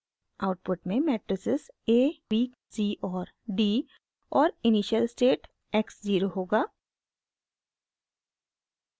output में matrices a b c और d और इनिशियल स्टेट x ज़ीरो होगा